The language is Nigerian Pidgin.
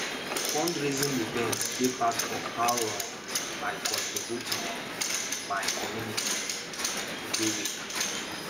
fundraising events dey part of how um i contribute um to my community um every week